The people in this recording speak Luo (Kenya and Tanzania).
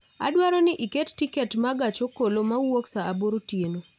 Adwaro ni iket tiket ma gach okoloma wuok saa aboro otieno